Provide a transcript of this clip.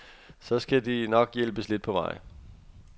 Så de skal nok hjælpes lidt på vej.